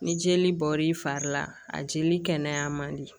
Ni jeli bɔr'i fari la a jeli kɛnɛyan man di